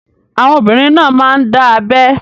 Àwọn obìnrin náà máa ń dá abẹ́